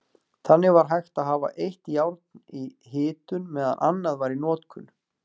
Þannig var hægt að hafa eitt járn í hitun meðan annað var í notkun.